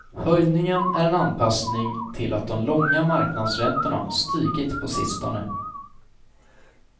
Höjningen är en anpassning till att de långa marknadsräntorna stigit på sistone.